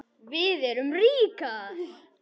Við erum ríkar